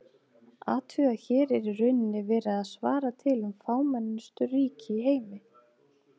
Athugið að hér er í rauninni verið að svara til um fámennustu ríki í heimi.